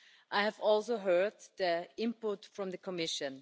I have also heard the input from the Commission.